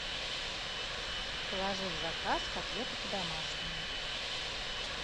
положи в заказ котлеты по домашнему